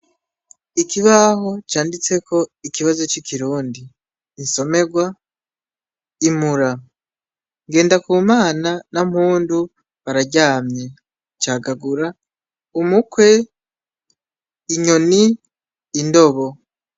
Ikibaho canditseko ikibazo c'ikirundi. Insomerwa; Imura! Ngendakumana na Mpundu, bararyamye. Cagagura: umukwe, inyoni, indobo.